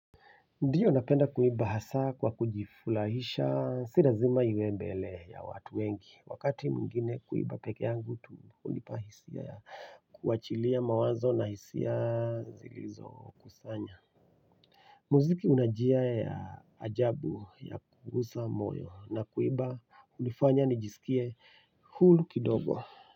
Ndio napenda kuimba hasa kwa kujifurahisha si lazima iwe mbele ya watu wengi. Wakati mwingine huimba pekee yangu tu hunipa hisia ya kuachilia mawazo na hisia zilizo kusanya. Muziki unajia ya ajabu ya kuguza moyo na kuimba hunifanya nijisikie huru kidogo.